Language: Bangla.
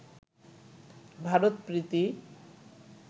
ভারত প্রীতি